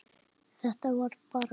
Þetta er bara svona.